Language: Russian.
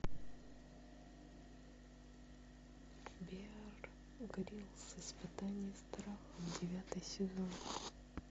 беар гриллс испытание страхом девятый сезон